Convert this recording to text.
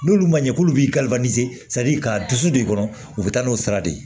N'olu ma ɲɛ k'olu b'i ka dusu de kɔnɔ u be taa n'o sira de ye